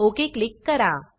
okay click करा